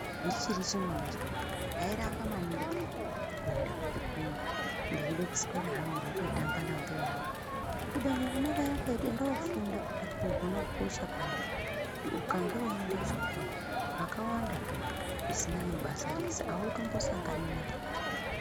Ndichiri chimwana chidodori ndairamba maningi peyani kuenda kuchikora ndeida kuswera hangu ndeitamba nambuya angu kubeni vona vairamba veiti enda wofunda ndakazozviona kukosha kwazvo kuti ukange weienda kuchikoro zvakawandazvo zvisina nebasa rese hautombisangani nazvo.